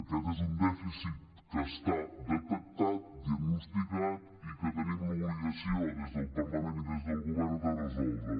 aquest és un dèficit que està detectat diagnosticat i que tenim l’obligació des del parlament i des del govern de resoldre